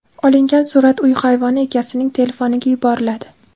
Olingan surat uy hayvoni egasining telefoniga yuboriladi.